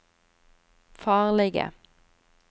farlige